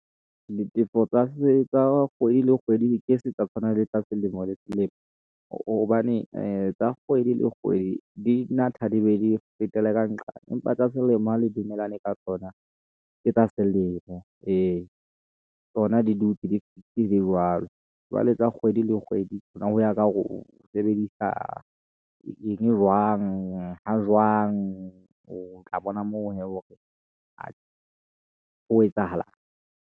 Ditefo tsa kgwedi le kgwedi ke se tsa tshwana le tsa selemo le selemo, hobane ee tsa kgwedi le kgwedi di natha, di be di fetele ka nqane, empa tsa selemo le dumelane ka tsona. Ke tsa selemo ee , tsona di dutse di ntse di le jwalo, jwale tsa kgwedi le kgwedi, ho ya ka hore o sebedisa eng jwang, ha jwang. O tla bona moo hee hore ho etsahalang.